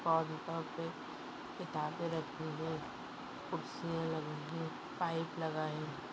पादुका पे किताबे किताबे रखी हुई खुर्चिया लगी हुई पाईप लगा है।